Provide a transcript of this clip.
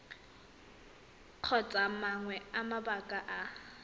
kgotsa mangwe a mabaka a